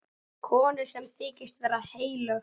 Konu sem þykist vera heilög.